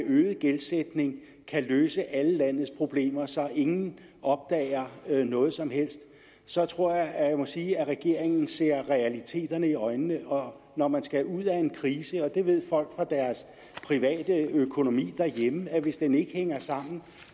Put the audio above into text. gældsætning kan løse alle landets problemer så ingen opdager noget som helst så tror jeg at jeg må sige at regeringen ser realiteterne i øjnene når når man skal ud af en krise og det ved folk fra deres private økonomi derhjemme at hvis den ikke hænger sammen